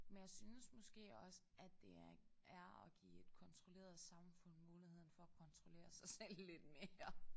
Men jeg synes måske også at det er er at give et kontrolleret samfund muligheden for at kontrollere sig selv lidt mere